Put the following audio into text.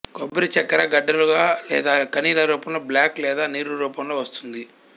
కొబ్బరి చక్కెర గడ్డలు గా లేదా కనిల రూపంలో బ్లాక్ లేదా నీరు రూపంలో వస్తుంది